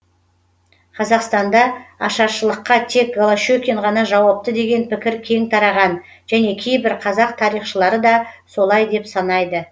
қазақстанда ашаршылыққа тек голощекин ғана жауапты деген пікір кең тараған және кейбір қазақ тарихшылары да солай деп санайды